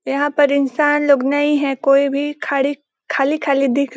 यहाँ पर इंसान लोग नही है कोई भी खाड़ी खाली -खाली दिख --